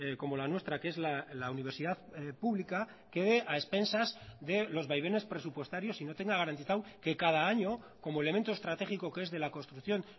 como la nuestra que es la universidad pública quede a expensas de los vaivenes presupuestarios y no tenga garantizado que cada año como elemento estratégico que es de la construcción